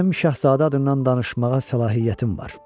Mənim Şahzadə adından danışmağa səlahiyyətim var.